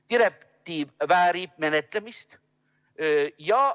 Direktiiv väärib menetlemist.